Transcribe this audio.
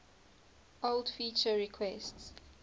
old feature requests